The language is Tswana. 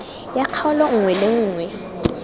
ya kgaolo nngwe le nngwe